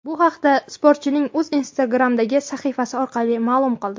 Bu haqda sportchining o‘zi Instagram’dagi sahifasi orqali ma’lum qildi.